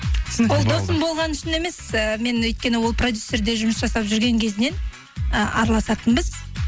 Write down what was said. ол досым болғаны үшін емес ііі мен өйткені ол продюсерде жұмыс жасап жүрген кезінен ы араласатынбыз